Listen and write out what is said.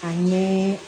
A ɲɛ